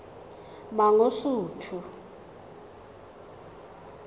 mangosuthu